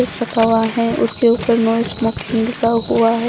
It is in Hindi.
दिख सका हुआ है उसके ऊपर नो स्मोकिंग लिखा हुआ है।